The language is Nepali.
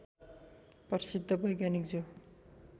प्रसिद्ध वैज्ञानिक जो